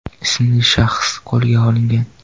ismli shaxs qo‘lga olingan.